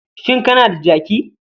Shin kana da jaki?